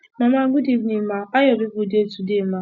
mama good evening ma how your people dey today ma